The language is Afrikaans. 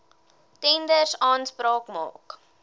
tenders aanspraak maak